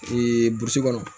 burusi kɔnɔ